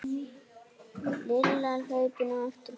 Lilla hlaupin á eftir Kötu.